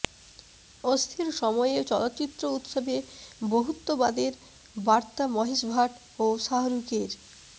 অস্থির সময়ে চলচ্চিত্র উৎসবে বহুত্ববাদের বার্তা মহেশ ভাট ও শাহরুখের